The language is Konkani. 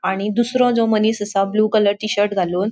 आणि दूसरों जो मनिस असा ब्लू कलर टी शर्ट घालून.